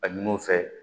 A ɲini u fɛ